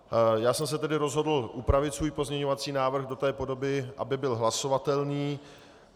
Já jsem se tedy rozhodl upravit svůj pozměňovací návrh do té podoby, aby byl hlasovatelný.